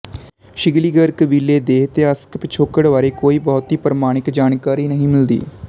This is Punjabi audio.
ਸਿਕਲੀਗਰ ਕਬੀਲੇ ਦੇ ਇਤਿਹਾਸਕ ਪਿਛੋਕੜ ਬਾਰੇ ਕੋਈ ਬਹੁਤੀ ਪ੍ਰਮਾਣਿਕ ਜਾਣਕਾਰੀ ਨਹੀਂ ਮਿਲਦੀ